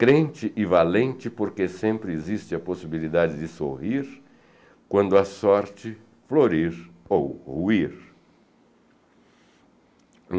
Crente e valente porque sempre existe a possibilidade de sorrir, quando a sorte florir ou ruir.